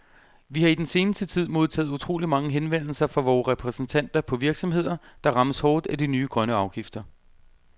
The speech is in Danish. Vi har i den seneste tid modtaget utrolig mange henvendelser fra vore repræsentanter på virksomheder, der rammes hårdt af de nye grønne afgifter.